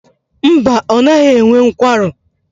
Mba, ọ naghị enwe nkwarụ.